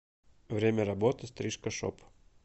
время работы стрижка шоп